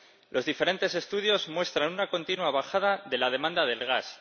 Los diferentes estudios muestran una continua bajada de la demanda de gas.